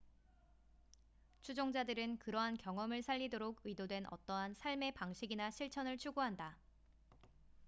추종자들은 그러한 경험을 살리도록 의도된 어떠한 삶의 방식이나 실천을 추구한다